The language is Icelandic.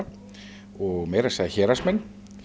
og meira að segja Héraðsmenn